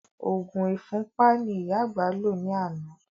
Òògùn ìfúnpá ni ìyá àgbà lò ní àná